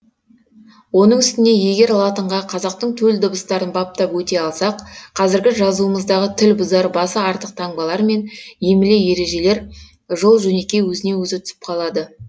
оның үстіне егер латынға қазақтың төл дыбыстарын баптап өте алсақ қазіргі жазуымыздағы тіл бұзар басы артық таңбалар мен емле ережелер жол жөнекей өзінен өзі түсіп қалады